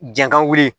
Jankan wuli